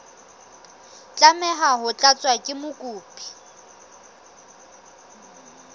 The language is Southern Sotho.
tlameha ho tlatswa ke mokopi